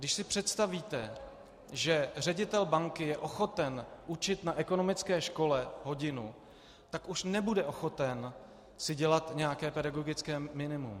Když si představíte, že ředitel banky je ochoten učit na ekonomické škole hodinu, tak už nebude ochoten si dělat nějaké pedagogické minimum.